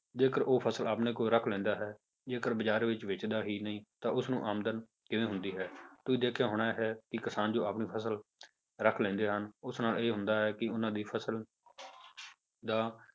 ਜੇਕਰ ਉਹ ਫਸਲ ਆਪਣੇ ਕੋਲ ਰੱਖ ਲੈਂਦਾ ਹੈ, ਜੇਕਰ ਬਾਜ਼ਾਰ ਵਿੱਚ ਵੇਚਦਾ ਹੀ ਨਹੀਂ ਤਾਂ ਉਸਨੂੰ ਆਮਦਨ ਕਿਵੇਂ ਹੁੰਦੀ ਹੈ ਤੁਸੀਂ ਦੇਖਿਆ ਹੋਣਾ ਹੈ ਕਿ ਕਿਸਾਨ ਜੋ ਆਪਣੀ ਫਸਲ ਰੱਖ ਲੈਂਦੇ ਹਨ, ਉਸ ਨਾਲ ਇਹ ਹੁੰਦਾ ਹੈ ਕਿ ਉਹਨਾਂ ਦੀ ਫਸਲ ਦਾ